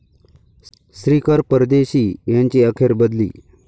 श्रीकर परदेशी यांची अखेर बदली